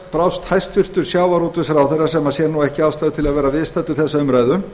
brást hæstvirtur sjávarútvegsráðherra sem sér ekki ástæðu til að vera viðstaddur þessa umræðu